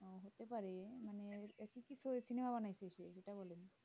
মানে অনিক বেশি